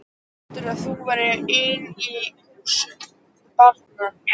Heldurðu að þú verðir ein í húsinu barn!